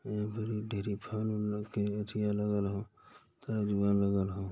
ए बेरी ढ़ेरी फल उल के अथी अलग-अलग तराजू अलग-अलग --